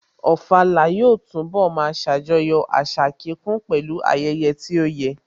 Ofala yóò túnbọ̀ máa ṣàjọyọ̀ àṣà kíkún pẹ̀lú ayẹyẹ tó yẹ